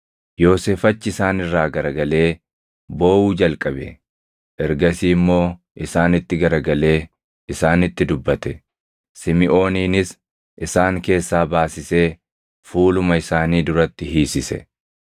Yoosef achi isaan irraa garagalee booʼuu jalqabe; ergasii immoo isaanitti garagalee isaanitti dubbate. Simiʼooninis isaan keessaa baasisee fuuluma isaanii duratti hiisise.